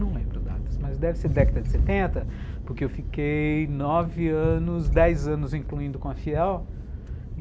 Não lembro datas, mas deve ser década de setenta, porque eu fiquei nove anos, dez anos incluindo com a.